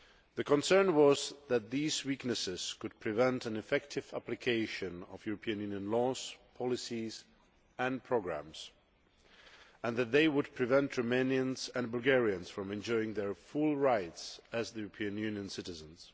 The concern was that these weaknesses could prevent an effective application of European Union laws, policies and programmes, and that they would prevent Romanians and Bulgarians from enjoying their full rights as European Union citizens.